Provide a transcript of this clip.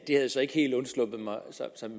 som